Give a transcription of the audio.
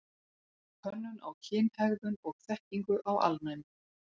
Könnun á kynhegðun og þekkingu á alnæmi.